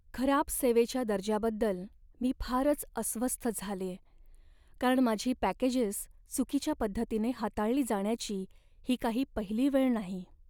खराब सेवेच्या दर्जाबद्दल मी फारच अस्वस्थ झालेय, कारण माझी पॅकेजेस चुकीच्या पद्धतीने हाताळली जाण्याची ही काही पहिली वेळ नाही.